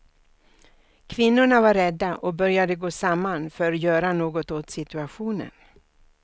Kvinnorna var rädda och började gå samman för göra något åt situationen.